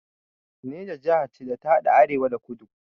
Neja jaha ce da ta haɗa arewa da kudu